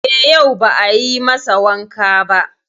E, yau ba a yi masa wanka ba.